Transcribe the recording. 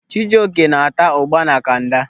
Chijoke na-ata ụ́gbà na kanda.